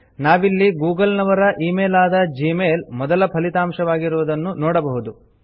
ನಾವಿಲ್ಲಿ ಗೂಗಲ್ ನವರ email ಆದ ಜಿಮೇಲ್ ಮೊದಲ ಫಲಿತಾಂಶವಾಗಿರುವುದನ್ನು ನೋಡಬಹುದು